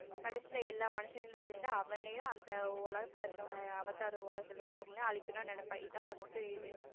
கடைசில எல்லா மனுஷங்களும் சேர்ந்து அவனையும் அந்த உலகத்துல இருக்கிற அவதார் உலகத்துல இருக்கிற எல்லாரையும் அழிக்கணும்னு நினைப்பாங்க இதுதான் first இது.